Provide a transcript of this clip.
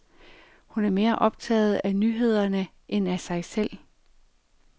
Hun er mere optaget af nyhederne end af sig selv.